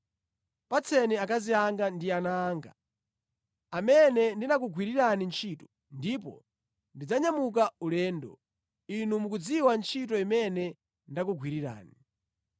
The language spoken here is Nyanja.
Patseni akazi anga ndi ana anga, amene ndinakugwirirani ntchito, ndipo ndidzanyamuka ulendo. Inu mukudziwa ntchito imene ndakugwirirani.”